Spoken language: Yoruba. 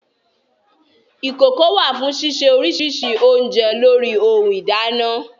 Ìkokò wà fún sísè oríṣiríṣi oúnjẹ lórí ohun ìdáná